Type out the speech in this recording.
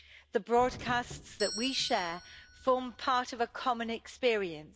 The broadcasts that we share form part of a common experience.